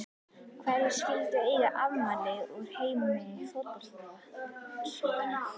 Hverjir skyldu eiga afmæli úr heimi fótboltans í dag?